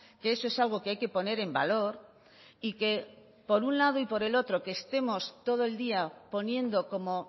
que eso es algo que hay que poner en valor y que por un lado y por el otro que estemos todo el día poniendo como